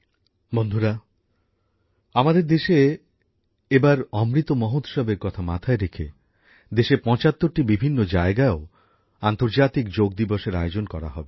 বন্ধুরা আমাদের দেশে এবার অমৃত মহোৎসবের কথা মাথায় রেখে দেশের ৭৫ টি বিভিন্ন জায়গায়ও আন্তজাতিক যোগ দিবসের আয়োজন করা হবে